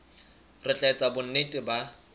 re tla etsa bonnete ba